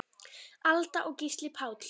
Alda og Gísli Páll.